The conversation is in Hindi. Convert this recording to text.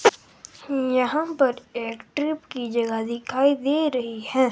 यहां पर एक ट्रिप की जगह दिखाई दे रही है।